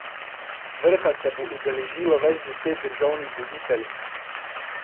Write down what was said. Vrha se bo udeležilo več deset državnih voditeljev.